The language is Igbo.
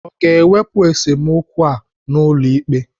Ọ ga-ewepụ esemokwu ha n'ụlọ ikpe?